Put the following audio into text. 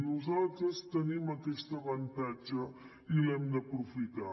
nosaltres tenim aquest avantatge i l’hem d’aprofitar